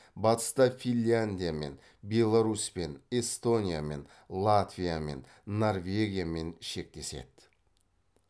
батыста финляндиямен беларусьпен эстониямен латвиямен норвегиямен шектеседі